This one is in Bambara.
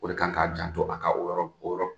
O de kan k'a janto a ka o yɔrɔ o yɔrɔ